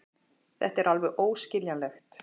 Þetta er alveg óskiljanlegt.